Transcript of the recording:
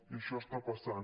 i això està passant